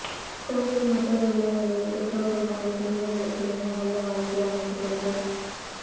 குழந்தைகள் மட்டுமே உள்ள நிலையில் பெற்றோர்கள் தங்கள் குழந்தைகளுக்கு மிக நல்ல வாழ்க்கை அமைத்துக் கொடுக்க